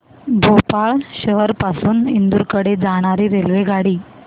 भोपाळ शहर पासून इंदूर कडे जाणारी रेल्वेगाडी